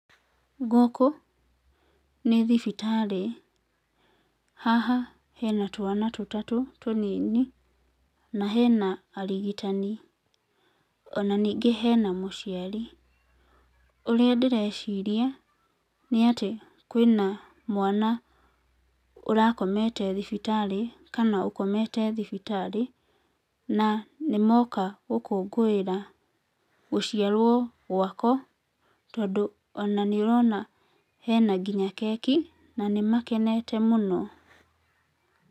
Gũkũ, nĩ thibitarĩ haha hena twana tũtatũ, tũnini, na hena arigitani ona ningĩ hena mũciari ũrĩa ndĩreciria, nĩatĩ kwĩna mwana ũrakomete thibitarĩ, kana ũkomete thibitarĩ, na nĩmoka gũkũngũĩra gũciarwo gwako, tondũ ona nĩ ũrona hena nginya keki, na nĩmakenete mũno.